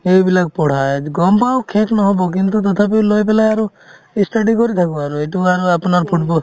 সেইবিলাক পঢ়াৰ গম পাওঁ শেষ নহ'ব কিন্তু তথাপিও লৈ পেলাই আৰু ই study কৰি থাকো আৰু এইটো বাৰু আপোনাৰ football